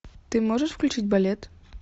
ты можешь включить балет